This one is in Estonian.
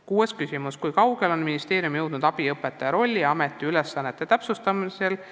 Kuues küsimus: "Kui kaugele on ministeerium jõudnud abiõpetaja rolli ja ametiülesannete täpsustamisega?